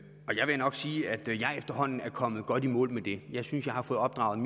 vil jeg nok sige at jeg efterhånden er kommet godt i mål med det jeg synes jeg har fået opdraget